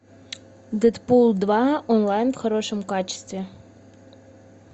дэдпул два онлайн в хорошем качестве